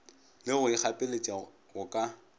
le go ikgapeletša go ka